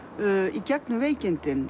í gegnum veikindin